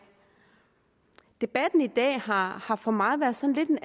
debatten i dag har har for mig været sådan